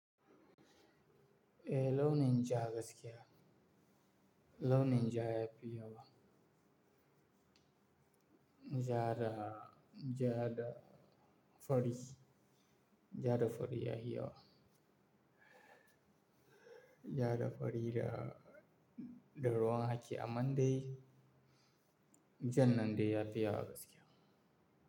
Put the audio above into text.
Eh, lau nin ja gaskiya, lau nin ja ya fi yawa. Ja da, ja da fari, ja da fari ya fi yawa. Ja da fari da, da ruwan haki amman dai, jan nan dai ya fi yawa gaskiya.